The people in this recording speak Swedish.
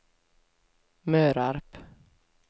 Mörarp